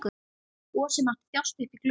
Gosi mátti þjást uppí glugga.